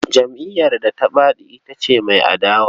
Jam'iyyar da ta faɗi zaɓe ita ce mai adawa.